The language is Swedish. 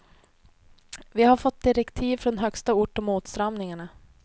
Vi har fått direktiv från högsta ort om åtstramningarna.